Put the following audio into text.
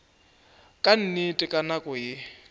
ka nnete ka nako ye